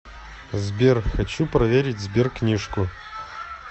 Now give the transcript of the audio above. сбер хочу проверить сберкнижку